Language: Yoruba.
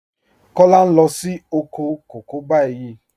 Kọla ń lọ sí òkò kọ̀kọ̀ báyìí.